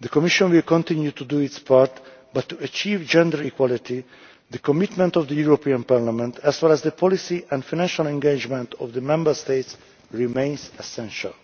The Commission will continue to do its part, but to achieve gender equality the commitment of the European Parliament in terms of the policy and financial engagement of the Member States remains essential.